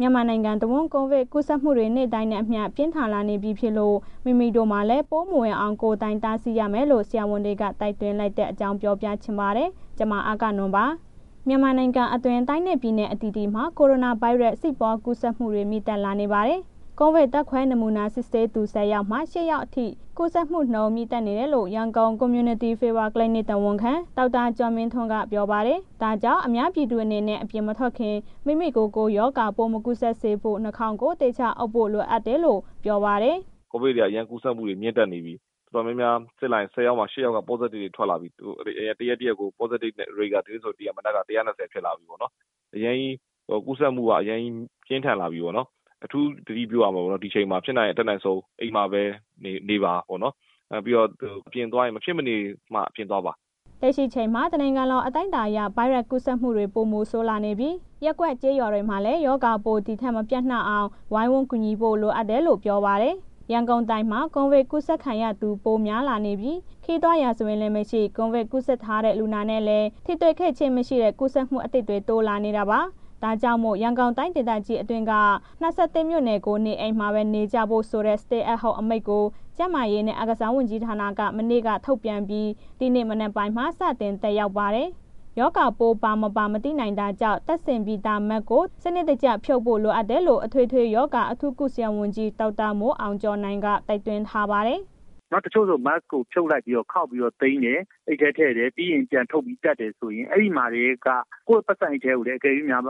မြန်မာနိုင်ငံတဝန်း ကိုဗစ်ကူးစက်မှုတွေ နေ့တိုင်းနဲ့အမျှပြင်းထန်လာနေပြီဖြစ်လို့ မိမိတို့်မှာလည်း ပိုးမဝင်အောင် ကိုယ်တိုင်တားဆီးရမယ်လို့ ဆရာဝန်တွေက တိုက်တွန်းလိုက်တဲ့အကြောင်း ပြောပြချင်ပါတယ်။ ဗွီအိုအေမြန်မာပိုင်း သတင်းထောက် မအဂ္ဂနွန်က သတင်းပေးပို့ထားပါတယ်။ မြန်မာနိုင်ငံအတွင်း တိုင်းနဲ့ ပြည်နယ် အသီးသီးမှာ ကိုရိုနာဗိုင်းရပ်စ် ဆင့်ပွားကူးစက်မှုတွေ မြင့်တက်လာနေပါတယ်။ ကိုဗစ်ဓာတ်ခွဲနမူနာ စစ်ဆေးသူ ၁၀ ယောက်မှာ ၈ ယောက်အထိ ကူးစက်မှုနှုန်း မြင့်တက်နေတယ်လို့ ရန်ကုန် community Fever Clinic တာဝန်ခံ ဒေါက်တာကျော်မင်းထွန်းက ပြောပါတယ်။ ဒါကြောင့် အများပြည်သူအနေနဲ့ အပြင်မထွက်ခင် မိမိကိုယ်ကို ရောဂါပိုးမကူးစက်စေဖို့ နှာခေါင်းကို သေချာအုပ်ဖို့ လိုတယ်လို့ ပြောပါတယ်။ “ကိုဗစ်တွေက အရမ်းကူးစက်မှုတွေ မြင့်တက်နေပြီး တော်တော်များများ စစ်လိုက်ရင် ၁၀ ယောက်မှာ ၈ ယောက်က positive တွေ ထွက်လာပြီ။ တစ်ရက်၊ တစ်ရက်ကို positive rate က ဒီနေ့ဆို မနက်က ၁၂၀ ဖြစ်လာပေါ့နော်။ ကူးစက်မှုက အရမ်းကြီးပြင်းထန်လာပြီးပေါ့နော်။ အထူးသတိပြုရမယ် ဒီအချိန်မှာ။ ဖြစ်နိုင်ရင် အတတ်နိုင်ဆုံး အိမ်မှာပဲ နေပါ၊ ပြီးတော့ အပြင်သွားရင် မဖြစ်မနေမှ အပြင်သွားပါ။” လက်ရှိချိန် တနိုင်ငံလုံး အတိုင်းအတာအရ ဗိုင်းရပ်စ် ကူးစက်မှုတွေ ပိုမိုဆိုးလာနေပြီး ရပ်ကွက် ကျေးရွာတွေမှာလည်း ရောဂါပိုး ဒီ့ထက် မပျံ့နှံ့အောင် ဝိုင်းဝန်ကူညီဖို့ လိုအပ်တယ်လို့ ပြောပါတယ်။ ရန်ကုန်တိုင်းမှာ ကိုဗစ်ကူးစက်ခံရသူ ပိုများလာနေပြီး ခရီးသွား ရာဇဝင်လည်းမရှိ၊ ကိုဗစ်ကူးစက်ထားတဲ့ လူနာနဲ့လည်း ထိတွေ့ခဲ့ဲခြင်း မရှိတဲ့ ကူးစက်မှုအသစ်တွေ တိုးလာနေတာပါ။ ဒါကြောင့်မို့ ရန်ကုန်တိုင်းဒေသကြီးအတွင်းက ၂၁ မြို့နယ်ကို နေအိမ်မှာပဲနေကြဖို့ဆိုတဲ့ Stay at Home အမိန့်ကို ကျန်းမာရေးနဲ့ အားကစားရေး ဝန်ကြီးဌာနက မနေ့က ထုတ်ပြန်ပြီး ဒီနေ့မနက်ပိုင်းမှာ စတင်သက်ရောက်ပါတယ်။ ရောဂါပိုး ပါ၊ မပါ မသိနိုင်တာကြောင့် တပ်ဆင်ပြီးသား Mask ကို စနစ်တကျဖြုတ်ဖို့ လိုအပ်တယ်လို့ အထွေထွေရောဂါ အထူးကုဆရာဝန်ကြီး ဒေါက်တာမိုးအောင်ကျော်နိုင်က တိုက်တွန်းထားပါတယ်။ “တချို့ဆို Mask ကို ဖြုတ်လိုက်ပြီးတော့ ခေါက်လိုက်ပြီးတော့ သိမ်းတယ်၊ အိတ်ထဲထည့်တယ်၊ ပြီးရင် ပြန်ထုတ်ပြီးတပ်တယ်ဆိုရင် အဲ့မှာကတည်းက ကိုယ့်ပိုက်ဆံအိတ်ထဲကို အကယ်လို့များ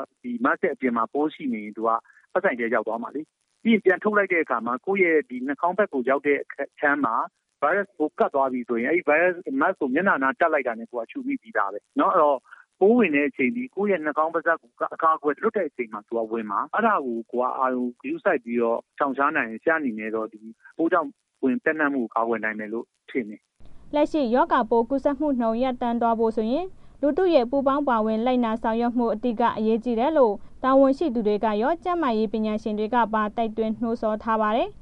Mask ရဲ့အပြင်မှာ ပိုးရှိနေရင် ပိုက်ဆံအိတ်ထဲရောက်သွားမှာလေး ပြီးရင် ပြန်ထုတ်လိုက်တဲ့ အခါမှာ ကိုယ့်ရဲ့ နှာခေါင်းဘက်ကို ရောက်တဲ့အခြမ်းမှာ ဗိုင်းရပ်စ်ပိုးကပ်ပြီးဆိုရင် အဲ့ဒီ Mask ကို မျက်နှာအနားကပ်လိုက်တာနဲ့ ကိုယ်က ရှုမိပြီးသားပဲနော်။ အဲ့တော့ ပိုးဝင်တဲ့အချိန်က ကိုယ့်ရဲ့ နှာခေါင်း၊ ပါးစပ် အကာအကွယ်လွတ်တဲ့ အချိန်မှာ သူက ဝင်မှာ၊ အဲ့ဒါကို ကိုယ်က အာရုံဂရုစိုက်ပြီးတော့ ရှောင်ရှားနိုင်ရင် ဆရာအနေနဲ့ ဒီပိုးကြောင့် ပျံ့နှံ့မှုကို ကာကွယ်နိုင်မယ်လို့ ထင်တယ်။” လက်ရှိ ရောဂါပိုးကူးစက်မှုနှုန်း တန့်သွားဖို့ဆိုရင် လူထုရဲ့ ပူးပေါင်းပါဝင် လိုက်နာဆောင်ရွက်မှု အဓိက အရေးကြီးတယ်လို့ တာဝန်ရှိသူတွေကရော ကျန်းမာရေးပညာရှင်တွေကပါ တိုက်တွန်း နှိုးဆော်ထားပါတယ်။